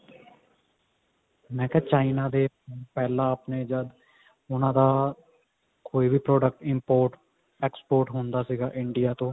ਮੈਂ ਕਿਹਾ china ਦੇ phone ਪਹਿਲਾਂ ਮੈਂ ਜਦ ਉਹਨਾ ਦਾ ਕੋਈ ਵੀ product import export ਹੁੰਦਾ ਸੀਗਾ India ਤੋਂ